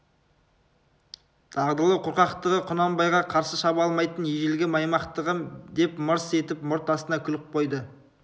дағдылы қорқақтығы құнанбайға қарсы шаба алмайтын ежелгі маймақтығы деп мырс етіп мұрт астынан күліп қойды